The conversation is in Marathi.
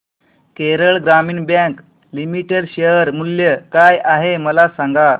केरळ ग्रामीण बँक लिमिटेड शेअर मूल्य काय आहे मला सांगा